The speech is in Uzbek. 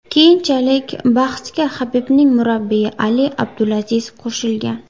Keyinchalik bahsga Habibning murabbiyi Ali Abdulaziz qo‘shilgan.